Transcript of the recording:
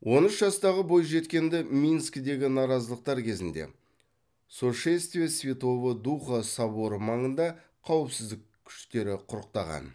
он үш жастағы бойжеткенді минскідегі наразылықтар кезінде сошествия святого духа соборы маңында қауіпсіздік күштері құрықтаған